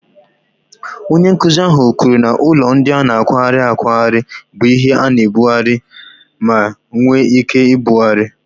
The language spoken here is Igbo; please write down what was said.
Onye nkuzi ahụ kwuru na ụlọ ndị a na-akwagharị akwagharị bụ ihe a na-ebugharị ma nwee ike ibugharị.